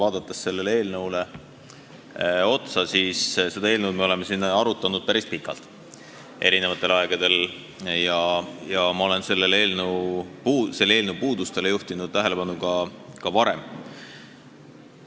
Aga kui vaadata sellele eelnõule otsa, siis seda eelnõu me oleme siin arutanud eri aegadel päris pikalt ja ma olen selle puudustele juhtinud tähelepanu ka varem.